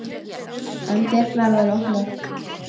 Enn voru dyrnar opnar.